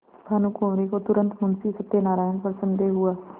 भानुकुँवरि को तुरन्त मुंशी सत्यनारायण पर संदेह हुआ